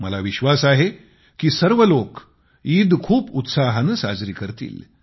मला विश्वास आहे कि सर्व लोक ईद खूप उत्साहाने साजरी करतील